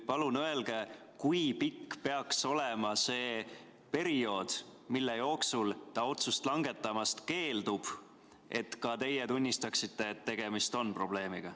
Palun öelge, kui pikk peaks olema see periood, mille jooksul ta otsust langetamast keeldub, et ka teie tunnistaksite, et tegemist on probleemiga.